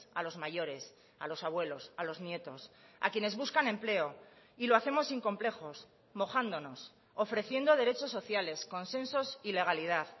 a los mayores a los abuelos a los nietos a quienes buscan empleo y lo hacemos sin complejos mojándonos ofreciendo derechos sociales consensos y legalidad